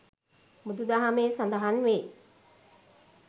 බුදුදහමේ සඳහන් වේ.